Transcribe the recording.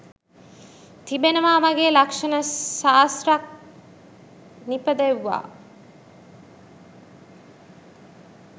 තිබෙනවා වගේ ලක්ෂණ ශාස්ත්‍රයත් නිපදෙව්වා.